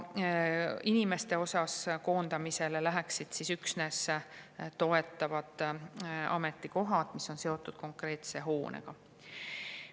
Inimeste osas koondamisele läheksid üksnes toetavad ametikohad, mis on seotud konkreetse hoonega.